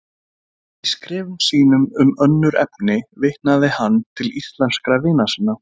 Í skrifum sínum um önnur efni vitnaði hann til íslenskra vina sinna.